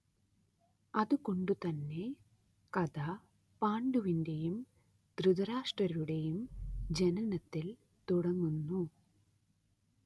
അതുകൊണ്ടു തന്നെ കഥ പാണ്ഡുവിന്റെയും ധൃതരാഷ്ട്രരുടേയും ജനനത്തിൽ തുടങ്ങുന്നു.